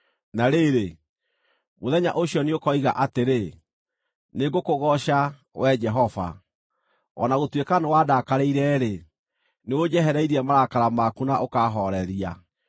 Na rĩrĩ, mũthenya ũcio nĩũkoiga atĩrĩ, “Nĩngũkũgooca, Wee Jehova. O na gũtuĩka nĩwaandakarĩire-rĩ, nĩũnjehereirie marakara maku na ũkaahooreria.